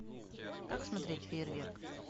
как смотреть фейерверк